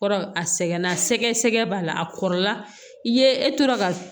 Kɔrɔ a sɛgɛnna sɛgɛ sɛgɛ b'a la a kɔrɔla i ye e tora ka